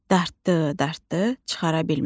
Dartdı, dartdı, çıxara bilmədi.